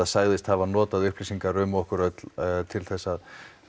sagðist hafa notað upplýsingar um okkur öll til þess að